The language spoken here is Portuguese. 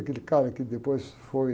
Aquele cara que depois foi...